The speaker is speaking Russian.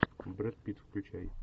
брэд питт включай